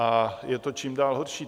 A je to čím dál horší.